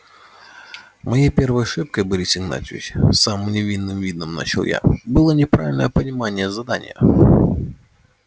моей первой ошибкой борис игнатьевич с самым невинным видом начал я было неправильное понимание задания